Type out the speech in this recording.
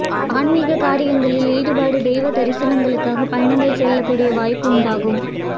ஆன்மீக காரியங்களில் ஈடுபாடு தெய்வ தரிசனங்களுக்காக பயணங்கள் செல்லக் கூடிய வாய்ப்பு உண்டாகும்